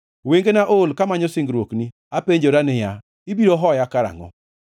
Wengena ool kamanyo singruokni; apenjora niya, “Ibiro hoya karangʼo?”